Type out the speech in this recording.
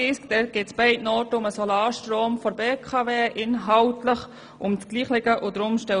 In den beiden Traktanden 37 und 38 geht es inhaltlich um dasselbe, nämlich um den Solarstrom der BKW.